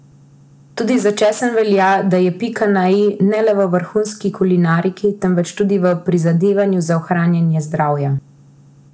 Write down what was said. Tudi za česen velja, da je pika na i ne le v vrhunski kulinariki, temveč tudi v prizadevanju za ohranjanje zdravja.